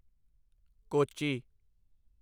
Kochi